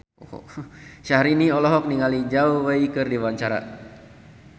Syahrini olohok ningali Zhao Wei keur diwawancara